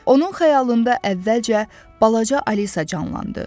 Onun xəyalında əvvəlcə balaca Alisa canlandı.